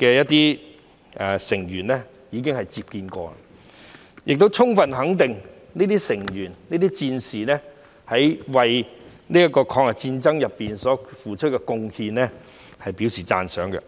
游擊隊的成員，亦充分肯定這些成員和戰士為抗日戰爭所付出的貢獻，並且表示讚賞。